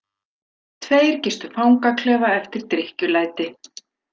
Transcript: Tveir gistu fangaklefa eftir drykkjulæti